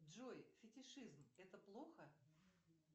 джой фетишизм это плохо